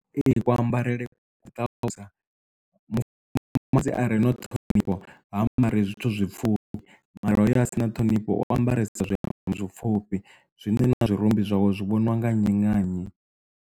Ee ku ambarele ku tavhanyisa mufumakadzi arena na ṱhonifho ha ambari zwithu zwipfhufhi mara hoyo a si na ṱhonifho wa ambaresa zwiambaro tshipfufhi zwine na zwirumbi zwawe zwi vhoniwa nga nnyi na nnyi.